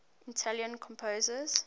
italian composers